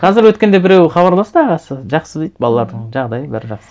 қазір өткенде біреуі хабарласты ағасы жақсы дейді балалардың жағдайы бәрі жақсы